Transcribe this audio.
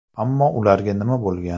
Ammo ularga nima bo‘lgan?